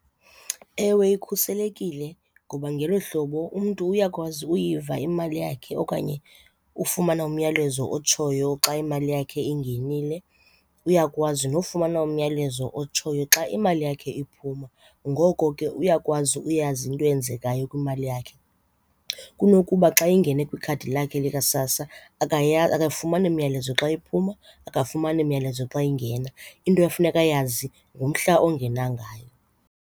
Ewe, ikhuselekile ngoba ngelo hlobo umntu uyakwazi uyiva imali yakhe okanye ufumana umyalezo otshoyo xa imali yakhe ingenile, uyakwazi nofumana umyalezo otshoyo xa imali yakhe iphuma. Ngoko ke uyakwazi uyazi into eyenzekayo kwimali yakhe. Kunokuba xa ingene kwikhadi lakhe likaSASSA akafumani myalezo xa iphuma, akafumani myalezo xa ingena. Into efuneka ayazi ngumhla ongena ngayo.